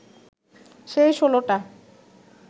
সেই ষোলোটা